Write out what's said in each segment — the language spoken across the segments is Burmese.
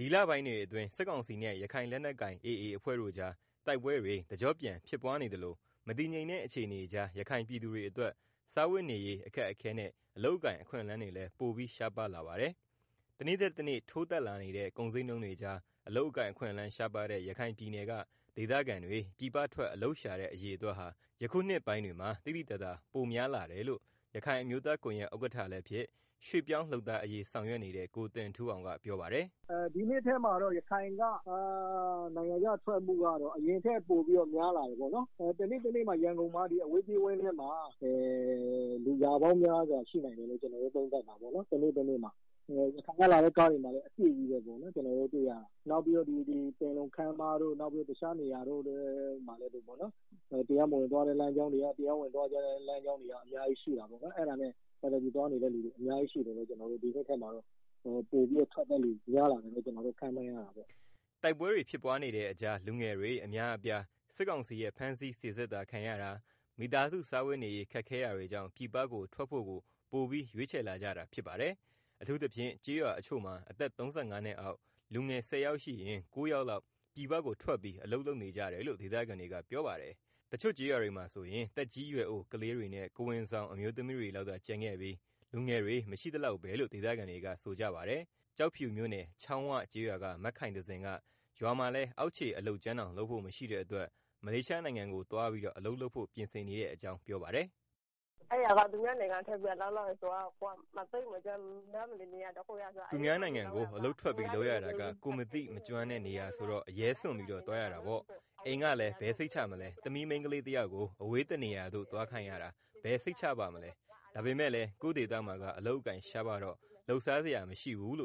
ဒီလပိုင်းတွေအတွင်း စစ်ကောင်စီနဲ့ ရခိုင်လက်နက်ကိုင် AA အဖွဲ့ကြား တိုက်ပွဲတွေ တကြော့ပြန်ဖြစ်ပွားနေသလို မတည်ငြိမ်တဲ့အခြေအနေကြား ရခိုင်ပြည်သူတွေအတွက် စားဝတ်နေရေး အခက်အခဲနဲ့ အလုပ်အကိုင်အခွင့်အလမ်းတွေလည်း ပိုပြီး ရှားပါးလာပါတယ်။ တနေ့ထက်တနေ့ ထိုးတက်လာနေတဲ့ ကုန်ဈေးနှုန်းတွေကြား အလုပ်အကိုင်အခွင့်အလမ်းရှားပါးတဲ့ ရခိုင်ပြည်နယ်က ဒေသခံတွေရဲ့ ပြည်ပထွက် အလုပ်ရှာတဲ့ အရေအတွက်ဟာ ဒီနှစ်ပိုင်းတွေမှာ သိသိသာသာ ပိုများလာတယ်လို့ ရခိုင်အမျိုးသားကွန်ယက်ဥက္ကဌ လည်းဖြစ် ရွေ့ပြောင်းလုပ်သားအရေး ဆောင်ရွက်နေတဲ့ ကိုတင်ထူးအောင်က ပြောပါတယ်။ “ ဒီနှစ်ထဲမှာတော့ ရခိုင်က နိုင်ငံခြားထွက်မှုက အရင်ကထက် ပိုပြီးတော့ များလာတယ် ပေါ့နော်၊ ရန်ကုန်က အဝေးပြေး ကားဝန်းထဲမှာ ဆိုရင်လည်း တနေ့တနေ့ကို လူရာပေါင်း များစွာရှိတယ်။ ရခိုင်က လာတဲ့ ကားတွေမှာလည်း အပြည့်ပေါ့နော်၊ နောက်ပြီးတော့ ပင်လုံခန်းမတို့ တခြားနယ်ရာတွေမှာလည်း တရားမဝင်သွားတာတွေရော တရားဝင်သွား တာတွေရော အများကြီးရှိတယ်၊အဲဒီကနေပြည်ပထွက်တာ တွေကိုကြည့်ပြီးတော့ ဒီနှစ်ထဲမှာ ပြည်ပထွက် ထွက်ခွာသူ များလာတယ်လို့ ခန့်မှန်းရတာပေါ့။ ” တိုက်ပွဲတွေ ဖြစ်ပွားနေတဲ့အကြား လူငယ်တွေ အများအပြား စစ်ကောင်စီရဲ့ ဖမ်းဆီး စီစစ်တာ ခံရတာ၊ မိသားစု စားဝတ်နေရေး ခက်ခဲတာတွေကြောင့် ပြည်ပကို ထွက်ဖို့ကို ပိုပြီး ရွေးချယ်လာကြတာဖြစ်ပါတယ်။အထူးသဖြင့် ကျေးရွာတချို့မှာ အသက် ၃၅နှစ်အောက် လူငယ် ၁၀ ယောက်ရှိရင် ၉ ယောက်လောက် ပြည်ပကို ထွက်ပြီး အလုပ်လုပ်နေကြတယ်လို့ ဒေသခံတွေက ပြောပါတယ်။ တချို့ကျေးရွာတွေမှာ ဆိုရင် သက်ကြီးရွယ်အို ကလေးတွေနဲ့ ကိုယ်ဝန်ဆောင်အမျိုးသမီးတွေလောက်သာ ကျန်ခဲ့ပြီး လူငယ်တွေ မရှိသလောက်ပဲလို့ ဒေသခံတွေဆိုကြပါတယ်။ ကျောက်ဖြူမြို့နယ် ချောင်းဝ ကျေးရွာက မခိုင်သဇင် က ရွာမှာလည်း အောက်ခြေ အုလပ်ကြမ်းတောင် လုပ်ဖို့ မရှိတဲ့အတွက် မလေးရှားနိုင်ငံကို သွားပြီးတော့ အလုပ်လုပ်ဖို့ ပြင်ဆင်နေတဲ့အကြောင်း ပြောပါတယ်။ “ သူများနိုင်ငံကိုအလုပ်ထွက်ပြီးလုပ်ရတာက ကိုယ်မသိမကျွမ်းတဲ့နေရာဆိုတော့ အရဲစွန့်ပြီး တော့ သွားရတာပေါ့။အိမ်ကလည်း ဘယ်စိတ်ချမလဲ။ သမီးမိန်းကလေးတယောက်ကို အဝေး တနေရာသို့ သွားခိုင်ရတာ ဘယ်စိတ်ချမလဲ။ဒါပေမယ့်လည်း ကိုယ့်ဒေသမှာ က အလုပ်အကိုင်ရှားပါးတော့ လုပ်စားစရာမရှိဘူး။" ရ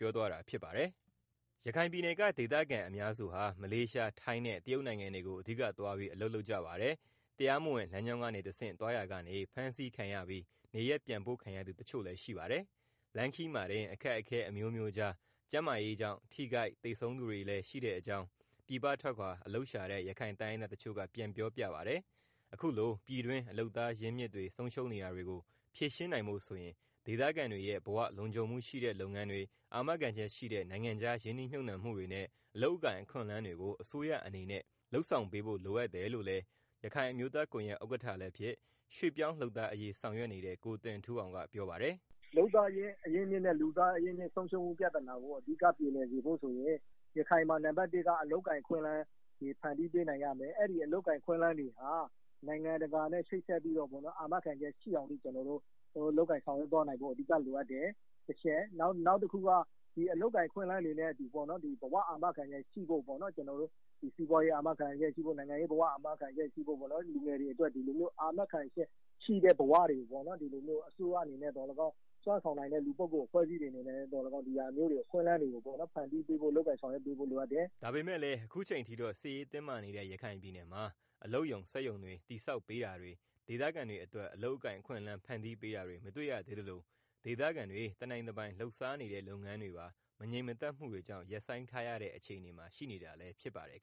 ခိုင်ပြည်နယ်က ဒေသခံအများစုဟာ မလေးရှား၊ ထိုင်းနဲ့ တရုတ်နိုင်ငံတွေကို အဓိကသွားပြီး အလုပ်လုပ်ကြပါတယ်။ တရားမဝင်လမ်းကြောင်းကနေတဆင့် သွားရာကနေ ဖမ်းဆီးခံရပြီး နေရပ်ပြန်ပို့ခံရသူ တချို့လည်း ရှိပါတယ်။ လမ်းခရီးမှာတင် အခက်အခဲ အမျိုးမျိုးကြား ကျန်းမာရေး ထိခိုက် သေဆုံးသူတွေလည်း ရှိတဲ့အကြောင်း ပြည်ပထွက်ခွာ အလုပ်ရှာတဲ့ ရခိုင်တိုင်းရင်းသားတချို့က ပြန်ပြောပြပါတယ်။ အခုလိုပြည်တွင်း လုပ်သားအရင်းအမြစ်တွေဆုံးရှုံးနေတာတွေကို ဖြေရှင်းနိုင်ဖို့ဆိုရင် ဒေသခံ တွေရဲ့ ဘဝလုံခြုံမှုရှိတဲ့လုပ်ငန်းတွေ အာမခံချက်ရှိတဲ့ နိုင်ငံခြားရင်းနှီးမြုပ်နှံ မှုတွေနဲ့ အလုပ် အကိုင်အခွင့်အလမ်းတွေကို အစိုးရအနေနဲ့ လုပ်ဆောင်ပေးဖို့ လိုအပ်တယ် လို့လည်း ရခိုင်အမျိုးသားကွန်ယှက်ဥက္ကဌ လည်းဖြစ် ရွေ့ပြောင်းလုပ်သားအရေးဆောင်ရွက် နေတဲ့ ကိုတင်ထူးအောင်က ပြောပါတယ်။ “ လုပ်သားအရင်းအမြစ်ဆုံးရှုံးမှုနဲ့ လူသားအရင်းအမြစ်ဆုံးရှုံးမှုပြဿနာကို အဓိက ပြေလည်စေဖို့ ဆိုရင် ရခိုင်မှာအဓိက အလုပ်အကိုင်အခွင့်အလမ်းတွေ ဖန်တီပေးနိုင်ရမယ်၊ အလုပ်အကိုင် အခွင့်အလမ်းတွေဟာ နိုင်ငံတကာနဲ့ ချိတ်ဆက်ပြီးတော့ အာမခံချက်ရှိအောင် လုပ်ကိုင် ဆောင်ရွက်သွားနိုင်ဖို့ အဓိက လိုအပ်တယ်၊ နောက်ပြီးတော့ ဘဝအာမခံချက်ရှိဖို့ စီးပွားရေး အာမခံချက်ရှိဖို့ နိုင်ငံရေး အာမခံချက်ရှိဖို့ လူငယ်တွေအတွက် အာမခံချက်ရှိတဲ့ ဘဝတွေ ရဖို့ အစိုးရအနေနဲ့ဖြစ်ဖြစ် စွမ်းဆောင်နိုင်တဲ့ လူပုဂ္ဂိုလ်တွေပဲဖြစ်ဖြစ် အခွင့်အလမ်းတွေ ဖန်တီးပေး ဖို့ လိုအပ်တယ်” ဒါပေမယ့်လည်း အခုအချိန်ထိတော့ စစ်ရေးတင်းမာနေတဲ့ ရခိုင်ပြည်နယ်မှာ အလုပ်ရုံစက် ရုံတွေတည်ဆောက်ပေးတာတွေ ဒေသခံတွေအတွက် အလုပ်အကိုင်အခွင့်အလမ်း ဖန်းတီးပေးတာတွေမတွေ့ရသေးသလို ဒေသခံတွေတပိုင်တနိုင်လုပ်စားနေတဲ့ လုပ်ငန်း တွေပါမငြိမ်မသက်မှုတွေကြောင့် ရပ်ဆိုင်းထားရတဲ့ အခြေအနေမှာ ရှိနေတာလည်းဖြစ်ပါတယ်